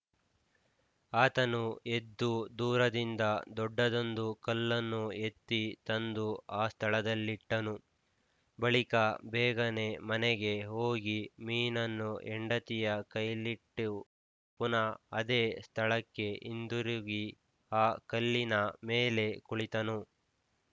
ಆತನು ಎದ್ದು ದೂರದಿಂದ ದೊಡ್ಡದೊಂದು ಕಲ್ಲನ್ನು ಎತ್ತಿ ತಂದು ಆ ಸ್ಥಳದಲ್ಲಿಟ್ಟನು ಬಳಿಕ ಬೇಗನೆ ಮನೆಗೆ ಹೋಗಿ ಮೀನನ್ನು ಹೆಂಡತಿಯ ಕೈಯಲ್ಲಿಟ್ಟೆವು ಪುನಃ ಅದೇ ಸ್ಥಳಕ್ಕೆ ಹಿಂತಿರುಗಿ ಆ ಕಲ್ಲಿನ ಮೇಲೆ ಕುಳಿತನು